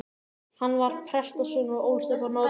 Hann var prestssonur og ólst upp á Norðurlandi.